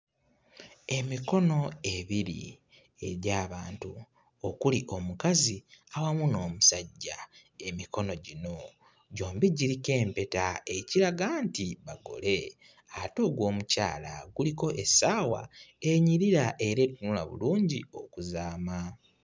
Emikono ebiri egy'abantu okuli omukazi awamu n'omusajja. Emikono gino gyombi giriko empeta ekiraga nti bagole ate ogw'omukyala kuliko essaawa enyirira era etunula bulungi okuzaama.